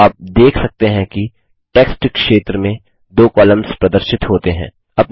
आप देख सकते हैं कि टेक्स्ट क्षेत्र में 2 कॉलम्स प्रदर्शित होते हैं